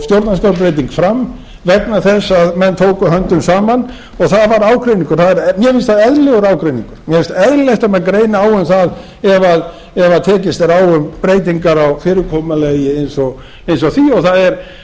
stjórnarskrárbreyting fram vegna þess að menn tóku höndum saman og það var ágreiningur mér finnst það eðlilegur ágreiningur mér finnst eðlilegt að menn greini á um það ef tekist er á um breytingar á fyrirkomulagi eins og því og